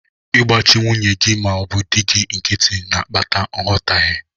Ịgbachi nwunye gị ma ọ bụ di gị nkịtị na-akpata nghọtaghe.